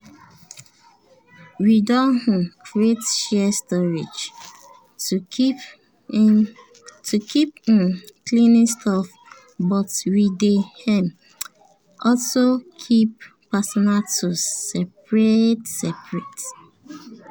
we don um create shared storage to keep um cleaning stuff but we dey um also keep personal tools separate separate